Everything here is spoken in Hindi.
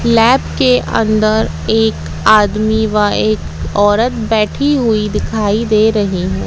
लैब के अंदर एक आदमी व एक औरत बैठी हुई दिखाई दे रही हैं।